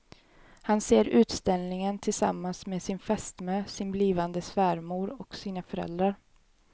Han ser utställningen tillsammans med sin fästmö, sin blivande svärmor och sina föräldrar.